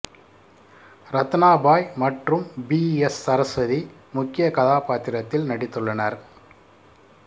ரத்னா பாய் மற்றும் P S Saraswathi முக்கிய கதாபாத்திரத்தில் நடித்துள்ளனர்